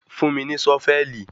Fún mí ní Sọ́fẹ̀lì